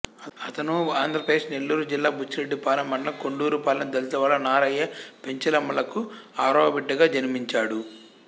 అతను ఆంధ్రప్రదేశ్ నెల్లూరు జిల్లా బుచ్చిరెడ్డిపాళెం మండలం కొండూరుపాళెం దళితవాడలో నారయ్య పెంచలమ్మలకు ఆరవ బిడ్డగా జన్మించాడు